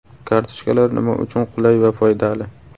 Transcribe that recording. Kartochkalar nima uchun qulay va foydali?